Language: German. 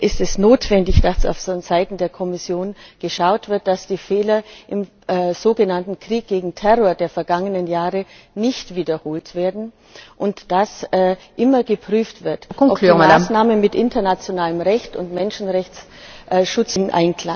Hier ist es notwendig, dass vonseiten der Kommission geschaut wird, dass die Fehler im sogenannten Krieg gegen den Terror der vergangenen Jahre nicht wiederholt werden und dass immer geprüft wird, ob die Maßnahmen mit internationalem Recht und Menschenrechtsschutznormen in Einklang stehen.